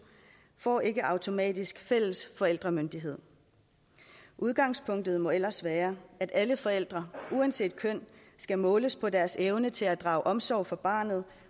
får ikke automatisk fælles forældremyndighed udgangspunktet må ellers være at alle forældre uanset køn skal måles på deres evne til at drage omsorg for barnet